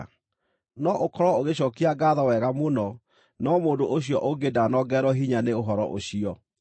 No ũkorwo ũgĩcookia ngaatho wega mũno, no mũndũ ũcio ũngĩ ndanongererwo hinya nĩ ũhoro ũcio.